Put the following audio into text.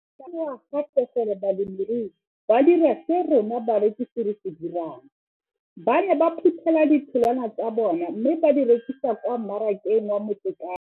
Ke ne ka lemoga gape gore balemirui ba dira seo rona barekisi re se dirang ba ne ba phuthela ditholwana tsa bona mme ba di rekisa kwa marakeng wa Motsekapa.